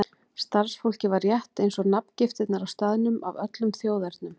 Starfsfólkið var, rétt eins og nafngiftirnar á staðnum, af öllum þjóðernum.